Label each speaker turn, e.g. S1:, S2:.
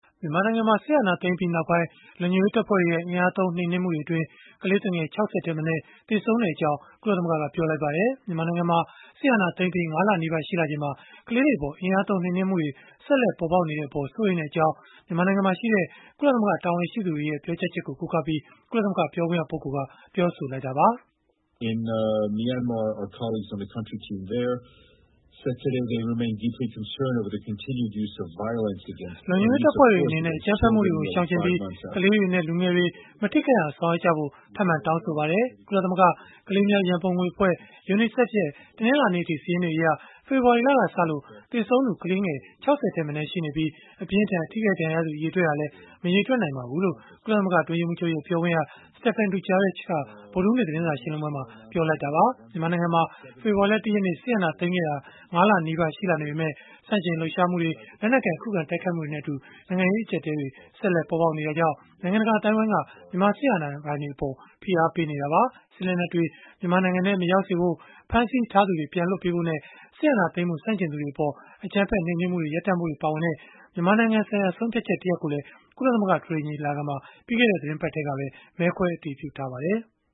S1: မြန်မာနိုင်ငံမှာ စစ်အာဏာသိမ်းပြီးနောက်ပိုင်း လုံခြုံရေးတပ်ဖွဲ့တွေရဲ့ အင်အားသုံး နှိမ်နင်းမှုတွေအတွင်း ကလေးသူငယ် ၆၀ ထက်မနည်း သေဆုံးခဲ့ကြောင်း ကုလသမဂ္ဂက ပြောဆိုလိုက်ပါတယ်။ မြန်မာနိုင်ငံမှာ စစ်အာဏာသိမ်းပြီး ၅ လနီးပါး ရှိလာချိန်မှာ ကလေးတွေအပေါ် အင်အားသုံး နှိမ်နင်းမှုတွေ ဆက်လက် ပေါ်ပေါက်နေတဲ့အပေါ် စိုးရိမ်ကြောင်း မြန်မာနိုင်ငံမှာရှိတဲ့ ကုလသမဂ္ဂ တာဝန်ရှိသူတွေရဲ့ ပြောကြားချက်ကို ကိုးကားပြီး ကုလသမဂ္ဂ ပြောခွင့်ရက ပြောဆိုလိုက်တာပါ။
S2: “လုံခြုံရေးတပ်ဖွဲ့တွေ အနေနဲ့ အကြမ်းဖက်မှုတွေကို ရှောင်ကြဉ်ပြီး၊ က
S1: လေးတွေနဲ့ လူငယ်တွေ မထိခိုက်အောင် ဆောင်ရွက်ကြဖို့ ထပ်မံတောင်းဆိုပါတယ်။ ကုလသမဂ္ဂ ကလေးများ ရန်ပုံငွေအဖွဲ့ (UNICEF) ရဲ့ တနင်္လာနေ့အထိ စာရင်းတွေအရ ဖေဖော်ဝါရီလကစလို့ သေဆုံးသူ ကလေးငယ် ၆၀ ထက်မနည်း ရှိနေပြီး၊ အပြင်းအထန် ထိခိုက်ဒဏ်ရာရသူ အရေအတွက်ဟာလည်း မရေတွက်နိုင်ပါဘူး။” လို့ ကုလသမဂ္ဂ အတွင်းရေးမှူးချုပ်ရဲ့ ပြောခွင့်ရ Stéphane Dujarric က ဗုဒ္ဓဟူးနေ့ သတင်းစာရှင်းလင်းပွဲမှာ ပြောဆိုလိုက်တာ ဖြစ်ပါတယ်။ မြန်မာနိုင်ငံမှာ ဖေဖော်ဝါရီလ ၁ ရက်နေ့ စစ်အာဏာသိမ်းခဲ့တာ ၅ လနီးပါး ရှိလာနေပေမဲ့ ဆန့်ကျင်လှုပ်ရှားမှုတွေ၊ လက်နက်ကိုင် ခုခံတိုက်ခိုက်မှုတွေနဲ့အတူ နိုင်ငံရေး အကျပ်အတည်းတွေ ဆက်လက် ပေါ်ပေါက်နေတာကြောင့် နိုင်ငံတကာ အသိုင်းအဝန်းက မြန်မာစစ်အာဏာပိုင်တွေအပေါ် ဖိအားပေးနေကြတာပါ။ စစ်လက်နက်တွေ မြန်မာနိုင်ငံထဲ မရောက်စေဖို့၊ ဖမ်းဆီးထားသူတွေကို ပြန်လွှတ်ပေးဖို့နဲ့ စစ်အာဏာသိမ်းမှု ဆန့်ကျင်သူတွေအပေါ် အကြမ်းဖက်နှိမ်နင်းမှုတွေ ရပ်တံ့ဖို့တွေ ပါဝင်တဲ့ မြန်မာနိုင်ငံဆိုင်ရာ ဆုံးဖြတ်ချက်တရပ်ကိုလည်း ကုလသမဂ္ဂ အထွေထွေ ညီလာခံမှာ ပြီးခဲ့တဲ့ သီတင်းပတ်ထဲမှာပဲ မဲခွဲအတည်ပြုခဲ့ပါတယ်။